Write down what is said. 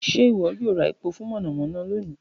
Ṣe iwọ yoo ra epo fun monomono loni?